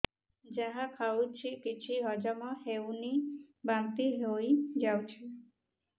ଯାହା ଖାଉଛି କିଛି ହଜମ ହେଉନି ବାନ୍ତି ହୋଇଯାଉଛି